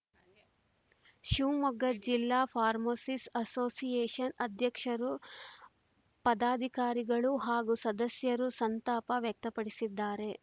ಶಿವಮೊಗ್ಗ ಜಿಲ್ಲಾ pharmacist association ಅಧ್ಯಕ್ಷರು ಪದಾಧಿಕಾರಿಗಳು ಹಾಗೂ ಸದಸ್ಯರು ಸಂತಾಪ ವ್ಯಕ್ತಪಡಿಸಿದ್ದಾರೆ